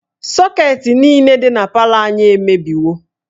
Sọketị niile dị na palọ anyị emebiwo